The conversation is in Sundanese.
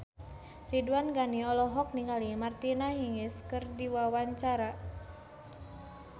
Ridwan Ghani olohok ningali Martina Hingis keur diwawancara